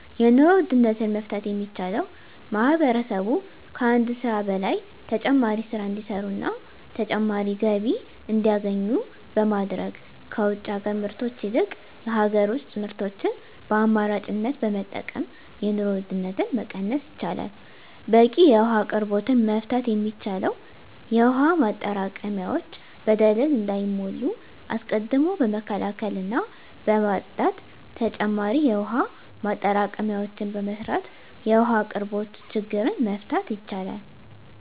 የኑሮ ውድነትን መፍታት የሚቻለው ማህበረሰቡ ከአንድ ስራ በላይ ተጨማሪ ስራ እንዲሰሩና ተጨማሪ ገቢ እንዲያገኙ በማድረግ ከውጭ ሀገር ምርቶች ይልቅ የሀገር ውስጥ ምርቶችን በአማራጭነት በመጠቀም የኑሮ ውድነትን መቀነስ ይቻላል። በቂ የውሀ አቅርቦትን መፍታት የሚቻለው የውሀ ማጠራቀሚያዎች በደለል እንዳይሞሉ አስቀድሞ በመከላከልና በማፅዳት ተጨማሪ የውሀ ማጠራቀሚያዎችን በመስራት የውሀ አቅርቦትን ችግር መፍታት ይቻላል።